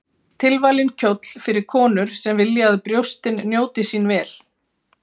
Tilvalinn kjóll fyrir konur sem vilja að brjóstin njóti sín vel.